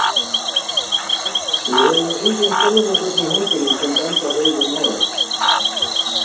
Við höfum engin sönnunargögn í höndunum sem bendla þau við málið.